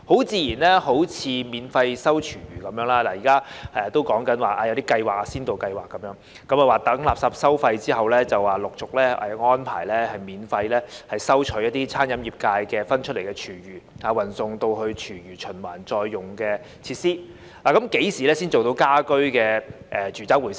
自然地，例如免費回收廚餘，現在還只是提出先導計劃，待實施垃圾收費後，才陸續安排免費收取餐飲界分類出來的廚餘，運送至廚餘循環再用的設施，但何時才做到家居住宅廚餘回收呢？